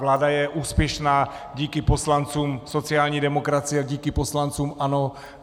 Vláda je úspěšná díky poslancům sociální demokracie, díky poslancům ANO.